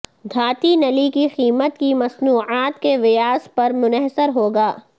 دھاتی نلی کی قیمت کی مصنوعات کے ویاس پر منحصر ہوگا